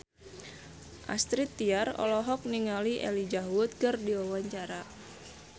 Astrid Tiar olohok ningali Elijah Wood keur diwawancara